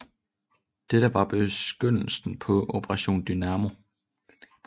Dette var begyndelsen på Operation Dynamo